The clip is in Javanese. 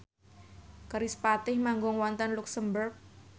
kerispatih manggung wonten luxemburg